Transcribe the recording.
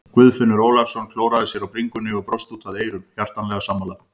Guðfinnur Ólafsson klóraði sér á bringunni og brosti út að eyrum, hjartanlega sammála.